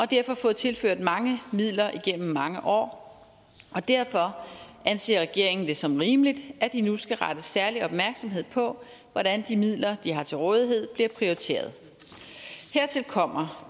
derfor fået tilført mange midler igennem mange år og derfor anser regeringen det som rimeligt at de nu skal rette særlig opmærksomhed på hvordan de midler de har til rådighed bliver prioriteret hertil kommer